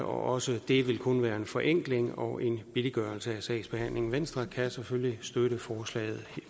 også det vil kun være en forenkling og en billiggørelse af sagsbehandlingen venstre kan selvfølgelig støtte forslaget